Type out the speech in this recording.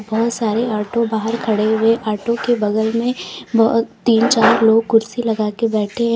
बहुत सारे ऑटो बाहर खड़े हुए ऑटो के बगल में बहुत तीन चार लोग कुर्सी लगाकर बैठे हैं।